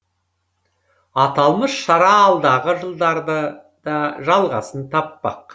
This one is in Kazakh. аталмыш шара алдағы жылдары да жалғасын таппақ